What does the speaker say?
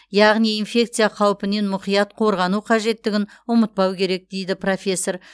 яғни инфекция қаупінен мұқият қорғану қажеттігін ұмытпау керек дейді профессор